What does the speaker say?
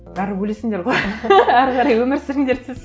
бәрібір өлесіңдер ғой әрі қарай өмір сүріңдер